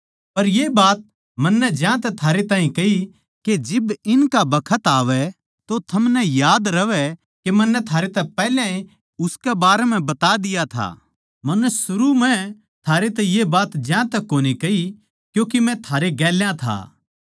पर ये बात मन्नै ज्यांतै थारैतै कही के जिब इनका बखत आवै तो थमनै याद रहवै के मन्नै थारैतै पैहल्याए उसकै बारें म्ह बता दिया था मन्नै सरू म्ह थारैतै ये बात ज्यांतै कोनी कही क्यूँके मै थारे गेल्या था